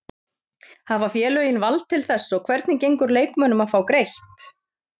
Hafa félögin vald til þess og hvernig gengur leikmönnum að fá greitt?